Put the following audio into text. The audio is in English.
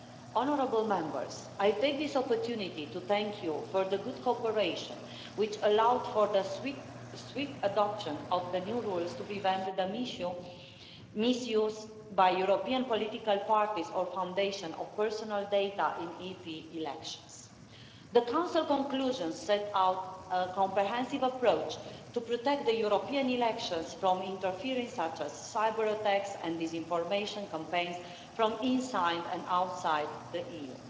Honourable Members, I take this opportunity to thank you for the good cooperation which allowed for the swift adoption of the new rules to prevent the misuse by European political parties or foundations of personal data in the EP elections. The Council conclusions set out a comprehensive approach to protect the European elections from interference such as cyber-attacks and disinformation campaigns from inside and outside the EU.